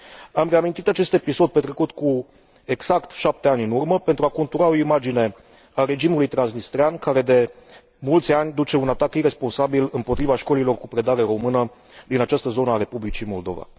Am reamintit acest episod petrecut cu exact șapte ani în urmă pentru a contura o imagine a regimului transnistrean, care de mulți ani duce un atac iresponsabil împotriva școlilor cu predare română din această zonă a Republicii Moldova.